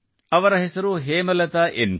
ಅವರ ಹೆಸರು Hemalatha N K